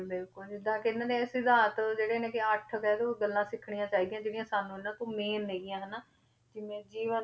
ਬਿਲਕੁਲ ਜਿੱਦਾਂ ਕਿ ਇਹਨਾਂ ਨੇ ਸਿਧਾਂਤ ਜਿਹੜੇ ਨੇ ਕਿ ਅੱਠ ਕਹਿ ਦਓ ਗੱਲਾਂ ਸਿੱਖਣੀਆਂ ਚਾਹੀਦੀਆਂ ਜਿਹੜੀਆਂ ਸਾਨੂੰ ਇਹਨਾਂ ਤੋਂ main ਹੈਗੀਆਂ ਹਨਾ, ਜਿਵੇਂ ਜੀਵਨ